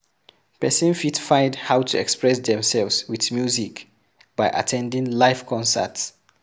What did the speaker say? Person fit find how to express themselves with music by at ten ding live concert